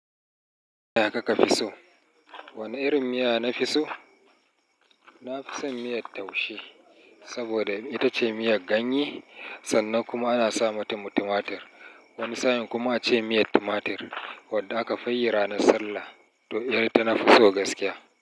Ya kaka fi so? Wane irin miya na fi so? Na fi son miyar taushe saboda ita ce miyar ganye sannan kuma ana sa mata mu tumatur. Wani sa'in kuma a ce miyar tumatur wadda aka fi yi ranar Sallah to irin ta tana fi so gaskiya.